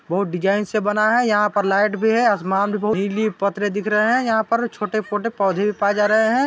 बहुत डिज़ाइन से बना है यहाँ पर लाइट भी है आसमान भी नीली पत्र दिख रहा है यहाँ पर छोटे -फोटे पौधे भी पाये जा रहे हैं।